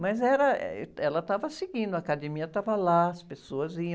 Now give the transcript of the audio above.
Mas era, eh, ela estava seguindo, a academia estava lá, as pessoas iam.